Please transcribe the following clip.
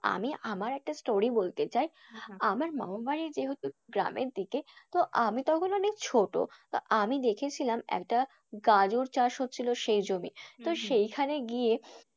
আমি আমার একটা story বলতে চাই, আমার মামাবাড়ি যেহেতু গ্রামের দিকে, তো আমি তখন অনেক ছোটো, তো আমি দেখেছিলাম একটা গাজর চাষ হচ্ছিল সেই জমি সেইখানে গিয়ে,